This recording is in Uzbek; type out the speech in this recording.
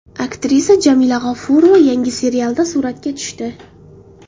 Aktrisa Jamila G‘ofurova yangi serialda suratga tushdi.